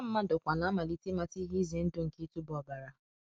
Ọha mmadụ kwa na-amalite ịmata ihe ize ndụ nke ịtụba ọbara."